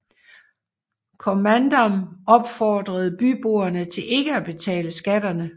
Kommandam opfordrede byboere til ikke at betale skatterne